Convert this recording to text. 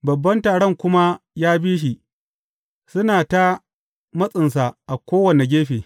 Babban taron kuma ya bi shi, suna ta matsinsa a kowane gefe.